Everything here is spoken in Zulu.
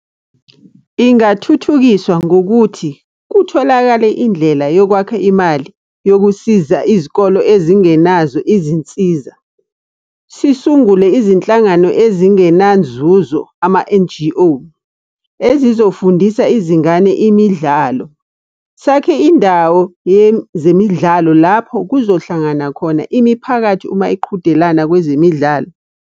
Ingathuthukiswa ngokuthi, kutholakale indlela yokwakha imali yokusiza izikolo ezingenazo izinsiza. Sisungule izinhlangano ezingenanzuzo, ama-N_G_O, ezizofundisa izingane imidlalo. Sakhe indawo yezemidlalo lapho kuzohlangana khona imiphakathi uma iqhudelana kwezemidlalo.